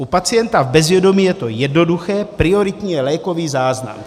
U pacienta v bezvědomí je to jednoduché, prioritní je lékový záznam.